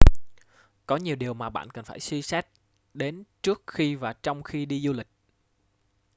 có nhiều điều mà bạn cần phải suy xét đến trước khi và trong khi đi du lịch